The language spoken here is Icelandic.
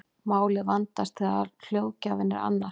málið vandast þegar hljóðgjafinn er annar